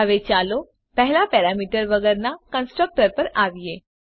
હવે ચાલો પહેલાં પેરામીટર વગરનાં કન્સ્ટ્રકટર પર આવીએ